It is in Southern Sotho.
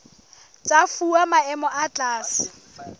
tsa fuwa maemo a tlase